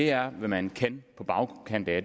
er hvad man kan på bagkanten af